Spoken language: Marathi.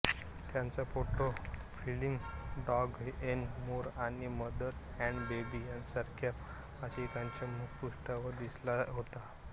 त्यांचा photo feelings dogs n more आणि मदर अँड बेबी सारख्या मासिकांच्या मुखपृष्ठावर दिसला होता